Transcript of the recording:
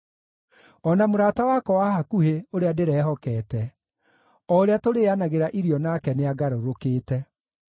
O na mũrata wakwa wa hakuhĩ, ũrĩa ndĩrehokete, o ũrĩa tũrĩĩanagĩra irio nake nĩangarũrũkĩte.